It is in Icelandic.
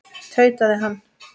tautaði hann.